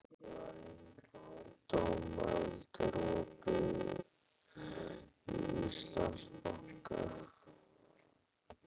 Dómald, er opið í Íslandsbanka?